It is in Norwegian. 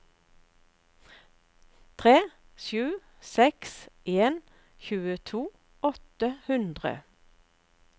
tre sju seks en tjueto åtte hundre